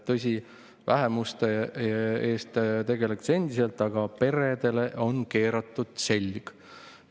Tõsi, vähemustega tegeletakse endiselt, aga peredele on keeratud selg.